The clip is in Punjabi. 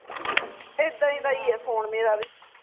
ਇੱਦਾ ਦਾ ਈ ਹੈ ਫੋਨ ਮੇਰਾ ਵੀ